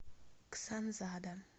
ксанзада